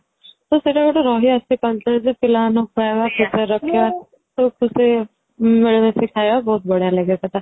ତ ସେଇଟା ଗୋଟେ ରହି ଆସିଛି culture ଯେ ପିଲା ମାନଙ୍କୁ ଖୁଏଇବା ମିଳିମିଶି ଖାଇବା ବାହୁତ ବଢିଆ ଲାଗେ ସେଇଟା